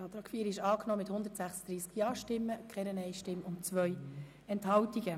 Sie haben den Antrag angenommen mit 136 Ja-Stimmen ohne Gegenstimmen und bei 2 Enthaltungen.